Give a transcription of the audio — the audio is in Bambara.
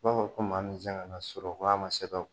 I b'a fɔ ko maa min se kana sɔrɔ ko a ma se ka